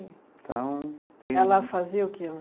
Então tem... Ela fazia o quê?